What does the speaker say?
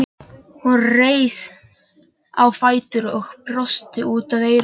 Hún reis á fætur og brosti út að eyrum.